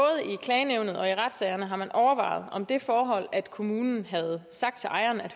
klagenævnet og i retssagerne har man overvejet om det forhold at kommunen havde sagt til ejeren af